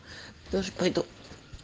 тоже пойду